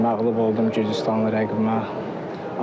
Məğlub oldum Gürcüstanlı rəqibimə.